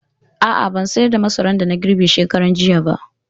A'a, ban sayar da masaran da na girbe shekaranjiya ba.